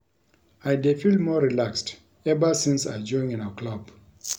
I dey feel more relaxed ever since I join una club